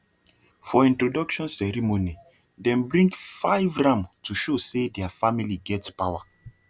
for introduction ceremony dem bring five ram to show say their family get power